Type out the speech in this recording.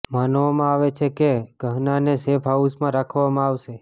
માનવામાં આવે છે કે ગહનાને સેફ હાઉસમાં રાખવામાં આવશે